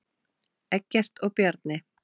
Eggert og Bjarni